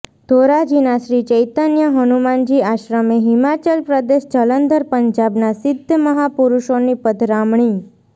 ધોરાજીના શ્રી ચૈતન્ય હનુમાનજી આશ્રમે હિમાચલ પ્રદેશ જલંધર પંજાબના સિધ્ધ મહાપુરૂષોની પધરામણી